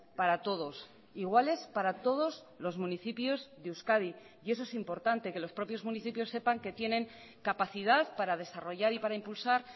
para todos iguales para todos los municipios de euskadi y eso es importante que los propios municipios sepan que tienen capacidad para desarrollar y para impulsar